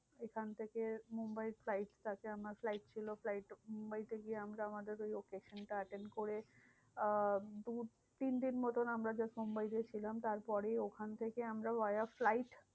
সেখান থেকে মুম্বাই flight আছে আমার flight ছিল flight মুম্বাইতে গিয়ে আমরা আমাদের ওই occasion টা attain করে, আহ দু তিনদিন মতন আমরা just মুম্বাইতে ছিলাম। তারপরে ওখান থেকে আমরা via ফ্লাইট